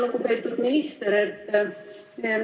Lugupeetud minister!